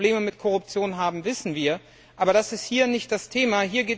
Dass wir Probleme mit Korruption haben, wissen wir, aber das ist hier nicht das Thema.